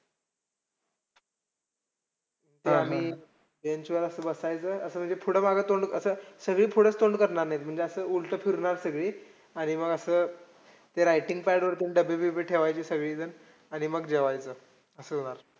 आम्ही bench वर असं बसायचं. असं म्हणजे थोडं मागं तोंड असं सगळीच पुढं तोंड करणार नाहीत. म्हणजे असं उलटं फिरणार, सगळी आणि मग असं ते writing pad वरती डब्बे-बिबे ठेवायची सगळीजण. आणि मग जेवायचो असं होणार.